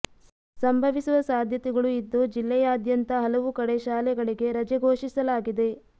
ಸಂಭವಿಸುವ ಸಾಧ್ಯತೆಗಳು ಇದ್ದು ಜಿಲ್ಲೆಯಾದ್ಯಂತ ಹಲವು ಕಡೆ ಶಾಲೆಗಳಿಗೆ ರಜೆ ಘೋಷಿಸಲಾಗಿದೆ